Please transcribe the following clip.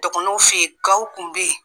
Dɔgɔnɔw fɛ yen gwaw tun bɛ yen.